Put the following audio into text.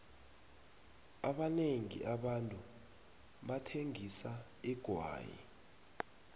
abanengi abantu bathengisa igwayi